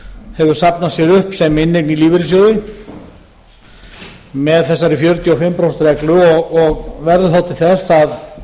hefur safnað sér upp sem inneign í lífeyrissjóði með þessari fjörutíu og fimm prósent reglu og verður þá til þess að